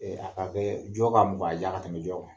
A bɛ jɔ ka mugan di yan ka tɛmɛ jɔ kan.